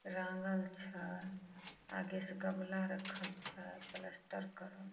रंगल छ आगे से गमला रखल छ पलस्तर करल--